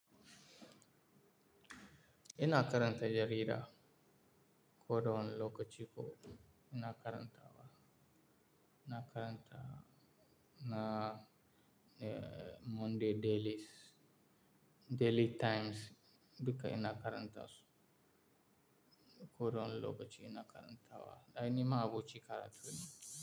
Ina karanta jarida. Ko dawani lokaci ko ina karanta ta. Ina karanta na, eh, Monday Dailies, Daily Times duka ina karanta su. Ko dawani lokaci ina karanta wa. Ai ni ma abokin karatu ne.